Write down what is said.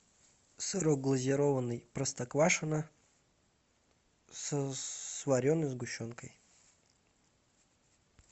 сырок глазированный простоквашино с вареной сгущенкой